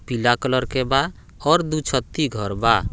पीला कलर के बा और दु छत्ती घर बा।